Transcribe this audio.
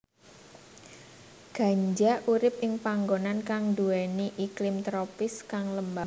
Ganja urip ing panggonan kang nduwèni iklim tropis kang lembab